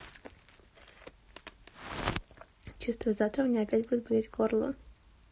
чувствую завтра у меня опять будет болеть горло